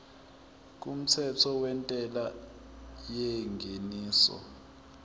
kumthetho wentela yengeniso